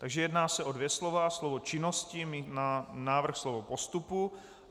Takže jedná se o dvě slova: slovo "činnosti" na návrh slovo "postupu".